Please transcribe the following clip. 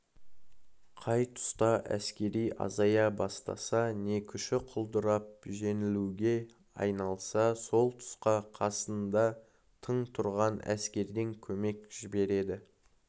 қай тұста әскері азая бастаса не күші құлдырап жеңілуге айналса сол тұсқа қасында тың тұрған әскерден көмек жібереді